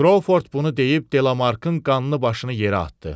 Krovford bunu deyib Delamarkın qanlı başını yerə atdı.